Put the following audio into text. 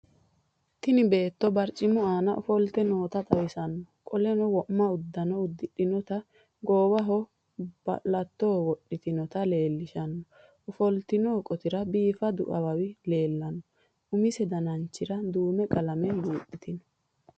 Tini beeto barciimu ana ofoolite noota xawiisaano. qoleno wo'ma udaano udiixinoota goowaho balaato woxitiinota lelishaano. ofolitino qootira bifaadu awaawi leelano. umise danchiira duume qalaame buuxitino.